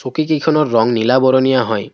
কিকিখনৰ ৰং নীলা বৰণীয়া হয়।